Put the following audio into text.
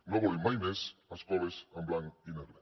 no volem mai més escoles en blanc i negre